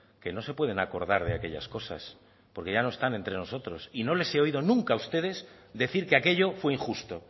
que no se pueden acordar de aquellas cosas porque ya no están entre nosotros y no les he oído nunca a ustedes decir que aquello fue injusto